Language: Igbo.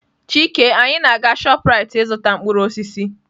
Chike, anyị na-aga Shoprite ịzụta mkpụrụ osisi.